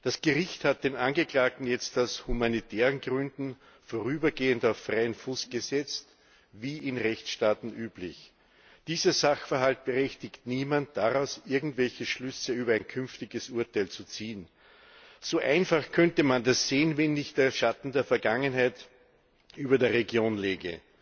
Das Gericht hat den Angeklagten jetzt aus humanitären Gründen vorübergehend auf freien Fuß gesetzt, wie in Rechtsstaaten üblich. Dieser Sachverhalt berechtigt niemanden, daraus irgendwelche Schlüsse über ein künftiges Urteil zu ziehen. So einfach könnte man das sehen, wenn nicht der Schatten der Vergangenheit über der Region läge.